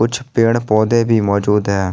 कुछ पेड़ पौधे भी मौजूद है।